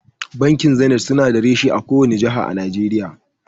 Bankin zenit su na da reshe a kowace jaha a Najeriya